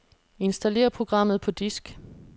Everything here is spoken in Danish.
Installer programmet på disk.